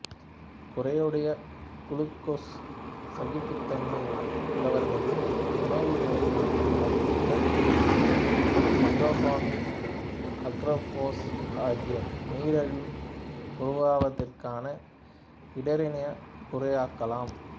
குறையுடைய glucose சகிப்புத்தன்மை உள்ளவர்களில் உணவு முறை மாற்றங்கள் உடற்பயிற்சி மெட்ஃபார்மின்அகார்போசு ஆகியன நீரிழிவு உருவாவதிற்கான இடரினைக் குறைக்கலாம்